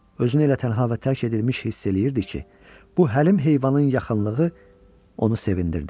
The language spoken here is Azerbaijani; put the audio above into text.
Özünü elə tənha və tərk edilmiş hiss eləyirdi ki, bu həlim heyvanın yaxınlığı onu sevindirdi.